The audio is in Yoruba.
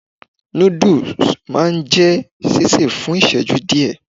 Nudus maa n je sise fun iṣẹju diẹ